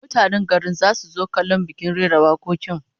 Mutanen garin zasu zo kallon bikin rera wakokin